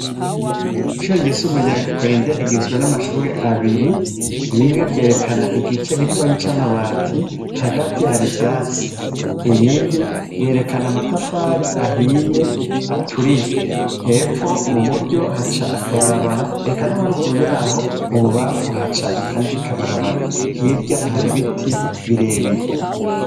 Isho ryesumuryakwenderigizwe n'amashure abiri rimwe ryerekana igica gitonyi c'amabati hagati hari ivyatsi iyindi yerekana amatafari ahiye aturiye hepfo mu buryo haca akabarabara eka noharuguru yaho mu bubafu haca akandi kabaraba bara hirya hari biti birebire.